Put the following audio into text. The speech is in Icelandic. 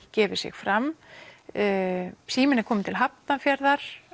gefið sig fram síminn er kominn til Hafnarfjarðar